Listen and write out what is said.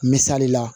Misali la